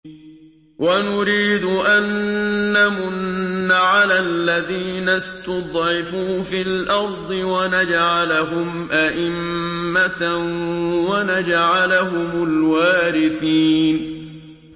وَنُرِيدُ أَن نَّمُنَّ عَلَى الَّذِينَ اسْتُضْعِفُوا فِي الْأَرْضِ وَنَجْعَلَهُمْ أَئِمَّةً وَنَجْعَلَهُمُ الْوَارِثِينَ